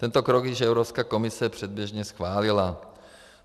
Tento krok již Evropská komise předběžně schválila.